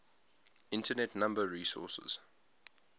internet number resources